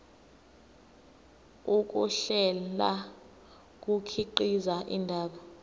ukuhlela kukhiqiza indaba